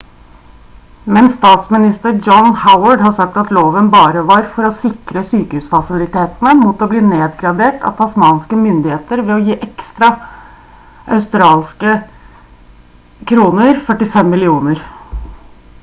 men statsminister john howard har sagt at loven bare var for å sikre sykehusfasilitene mot å bli nedgradert av tasmanske myndigheter ved å gi ekstra audkr 45 millioner